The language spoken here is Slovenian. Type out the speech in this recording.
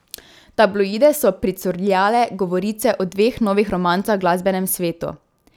V tabloide so pricurljale govorice o dveh novih romancah v glasbenem svetu.